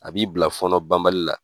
A b'i bila fɔɔnɔ ban bali la.